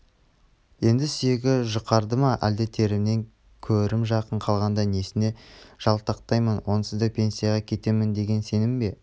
енд сүйегі жұқарды ма әлде төрімнен көрім жақын қалғанда несіне жалтақтаймын онсыз да пенсияға кетемін деген сенім бе